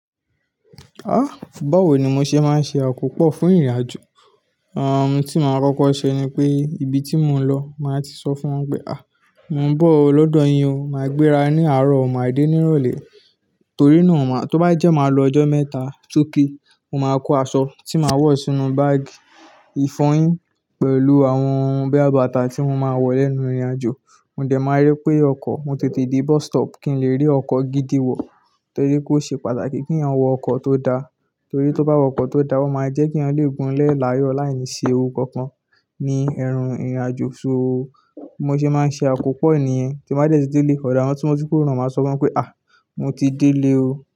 Ah! Fún bọ̀ wọ̀ ni mò ń ṣe máa ń ṣe àkópọ̀ fún ìrìnàjò. Àwọn ohun tí mò máa kọ́kọ́ ṣe ni pé ibi tí mò ń lọ, màá ti sọ fún wọn pé "à, mò ń bọ̀ lọ́dọ̀ yín o, màá gbéra ní àárọ̀ ọ̀ made nírọ̀lẹ́." Torí náà, tó bá jẹ́ màá lọ ọjọ́ mẹ́ta soke, mò máa kó aṣọ tí màá wọ̀ sínú báàgì, ìfọyín pẹ̀lú àwọn ohun boya bi bàtà tí mò máa wọ̀ lẹ́nu ìrìnàjò. Mò dẹ̀ máa rí pé ọkọ̀, mò tètè dé bus stop kí n lè rí ọkọ̀ gidi wọ̀. Torí pé ó ṣe pàtàkì kí a wọ ọkọ̀ tó da. Torí tó bá wọ ọkọ̀ tó da, ó máa jẹ́ kí a lè gúnlẹ̀ láyọ̀ láìní ṣe Ewu kankan ní ẹrùn ìrìnàjò so. Mò ṣé máa ń ṣe àkópọ̀ ẹ̀ya, tí mò bá tètè dé ilé ọ̀dọ̀ àwọn ọtúnmọ̀sí kó ran, màá sọ fún wọn pé "à, mò ti dé ilé o."